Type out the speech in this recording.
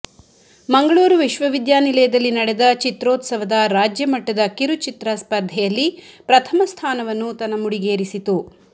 ಮಂಗಳೂರು ವಿಶ್ವವಿದ್ಯಾನಿಲಯದಲ್ಲಿ ನಡೆದ ಚಿತ್ರೋತ್ಸವದ ರಾಜ್ಯಮಟ್ಟದ ಕಿರುಚಿತ್ರ ಸ್ಪರ್ಧೆಯಲ್ಲಿ ಪ್ರಥಮ ಸ್ಥಾನವನ್ನು ತನ್ನ ಮುಡಿಗೇರಿಸಿತು